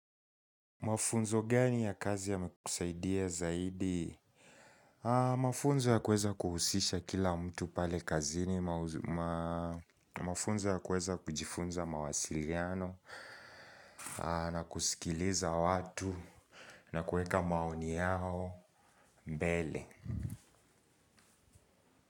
Mafunzo gani ya kazi yamekusaidia zaidi? Mafunzo ya kuweza kuhusisha kila mtu pale kazini. Mafunzo ya kuweza kujifunza mawasiliano. Na kusikiliza watu. Na kuweka maoni yao mbele.